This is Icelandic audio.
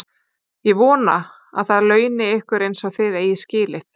Ég vona, að það launi ykkur eins og þið eigið skilið.